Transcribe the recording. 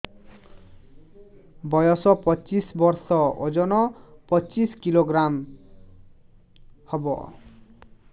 ବୟସ ପଚିଶ ବର୍ଷ ଓଜନ ପଚିଶ କିଲୋଗ୍ରାମସ ହବ